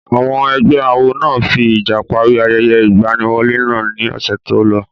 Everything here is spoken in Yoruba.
Àwọn ẹgbẹ́ awo náà fi ìjà parí ayẹyẹ ìgbaniwọlé náà ní ọ̀sẹ̀ tí ó lọ.